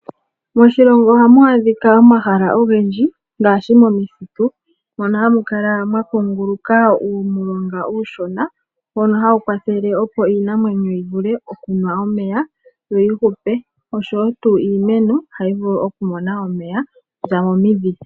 Moshilongo ohamu adhika omahala ogendji ngaashi momithitu, mono hamu kala mwa kunguluka uumulonga uushona mbono hawu kwathele, opo iinamwenyo yi vule okunwa omeya, yo yi hupe oshowo tuu iimeno hayi vulu oku mona omeya okuza momidhi.